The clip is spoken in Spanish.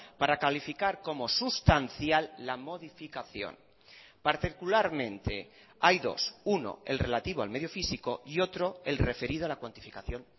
para calificar como sustancial la modificación particularmente hay dos uno el relativo al medio físico y otro el referido a la cuantificación